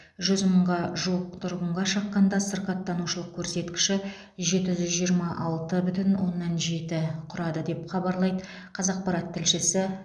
жүз мыңға жуық тұрғынға шаққанда сырқаттанушылық көрсеткіші жеті жүз жиырма алты бүтін оннан жеті құрады деп хабарлайды қазақпарат тілшісі